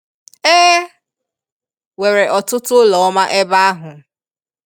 E nwere ọtụtụ ụlọ ọma ebe ahu.